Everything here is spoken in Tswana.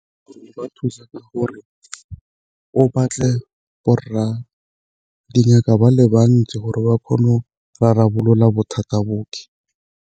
Go ba thusa ka gore o batle borra dingaka ba le bantsi gore ba kgone go rarabolola bothata .